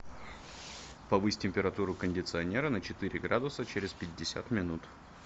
повысь температуру кондиционера на четыре градуса через пятьдесят минут